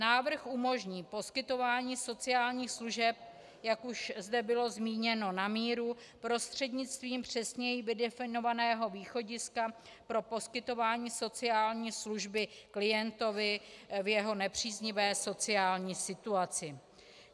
Návrh umožní poskytování sociálních služeb, jak už zde bylo zmíněno, na míru prostřednictvím přesněji vydefinovaného východiska pro poskytování sociální služby klientovi v jeho nepříznivé sociální situaci.